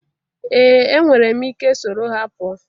Ee enwere m ike soro ha pụọ